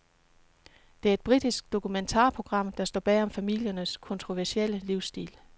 Det er et britisk dokumentarprogram, der går bag om familiernes kontroversielle livsstil.